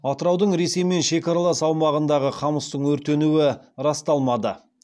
атыраудың ресеймен шекаралас аумағындағы қамыстың өртенуі расталмады